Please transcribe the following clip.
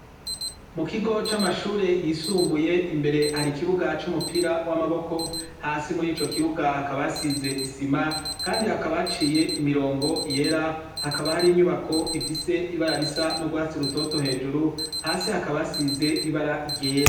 Mu kigo c'amashure yisumbuye, imbere hari ikibuga c'umupira w'amaboko, hasi muri ico kibuga hakaba hasize isima kandi hakaba haciye imirongo yera, hakaba hari inyubako ifise ibara risa n'urwatsi rutoto hejuru, hasi hakaba hasize ibara ryera.